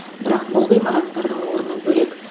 бірақ бұл ғимараттардың орны бөлек